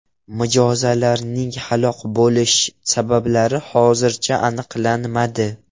Mijozlarning halok bo‘lish sabablari hozircha aniqlanmadi.